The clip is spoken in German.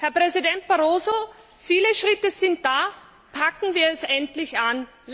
Herr Präsident Barroso, viele Schritte sind da, packen wir es endlich an!